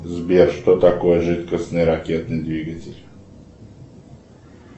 сбер что такое жидкостный ракетный двигатель